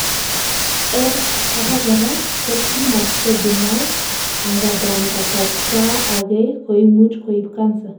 en abakora ko tumors ko benign, angandan kasarta agei koimuch koib Cancer